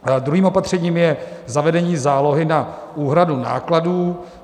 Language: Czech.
Druhým opatřením je zavedení zálohy na úhradu nákladů.